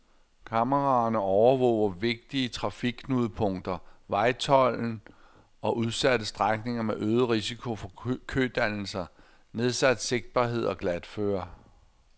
Kameraerne overvåger vigtige trafikknudepunkter, vejtolden og udsatte strækninger med øget risiko for kødannelser, nedsat sigtbarhed og glatføre.